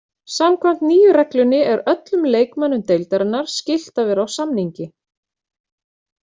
Samkvæmt nýju reglunni er öllum leikmönnum deildarinnar skylt að vera á samningi.